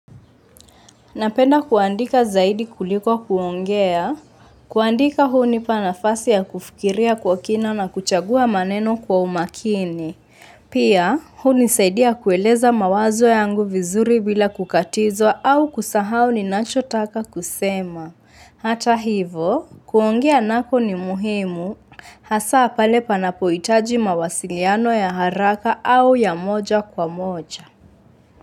Napenda kuandika zaidi kuliko kuongea, kuandika hunipa nafasi ya kufikiria kwa kina na kuchagua maneno kwa umakini. Pia, hunisaidia kueleza mawazo yangu vizuri bila kukatizwa au kusahao ninachotaka kusema. Hata hivo, kuongea nako ni muhimu, hasaa pale panapoitaji mawasiliano ya haraka au ya moja kwa moja.